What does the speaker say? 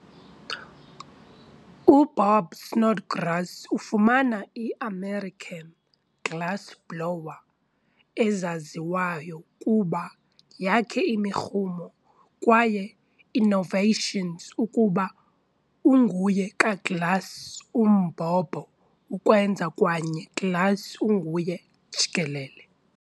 UBob Snodgrass ufumana i-i-american glassblower ezaziwayo kuba yakhe imirhumo kwaye innovations ukuba unguye ka-glass umbhobho-ukwenza kwaye glass unguye jikelele.